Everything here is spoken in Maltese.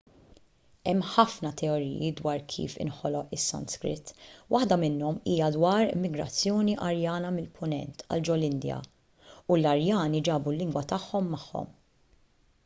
hemm ħafna teoriji dwar kif inħoloq is-sanskrit waħda minnhom hija dwar migrazzjoni arjana mill-punent għal ġol-indja u l-arjani ġabu l-lingwa tagħhom magħhom